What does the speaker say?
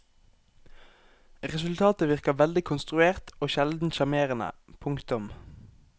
Resultatet virker veldig konstruert og sjelden sjarmerende. punktum